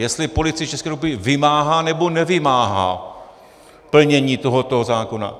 Jestli Policie České republiky vymáhá, nebo nevymáhá plnění tohoto zákona.